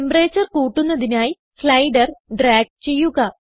temperature കൂട്ടുന്നതിനായി slider drag ചെയ്യുക